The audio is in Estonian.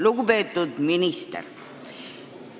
Lugupeetud minister!